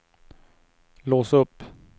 lås upp